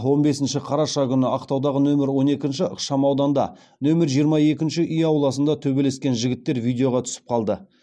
он бесінші қараша күні ақтаудағы нөмір он екінші ықшамауданда нөмір жиырма екінші үй ауласында төбелескен жігіттер видеоға түсіп қалды